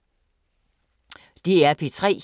DR P3